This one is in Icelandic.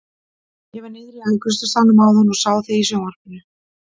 Ég var niðri í afgreiðslusalnum áðan og sá þig í sjónvarpinu!